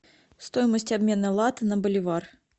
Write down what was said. стоимость обмена лата на боливар